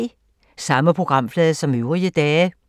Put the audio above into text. Samme programflade som øvrige dage